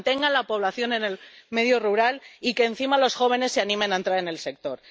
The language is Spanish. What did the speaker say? que mantengan la población en el medio rural y que, encima, los jóvenes se animen a entrar en el sector.